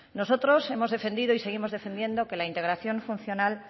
nosotros hemos defendido y seguimos defendiendo que la integración funcional